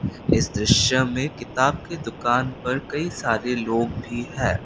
इस दृश्य में किताब की दुकान पर कई सारे लोग भी है।